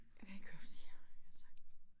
Jeg kan ikke høre hvad du siger altså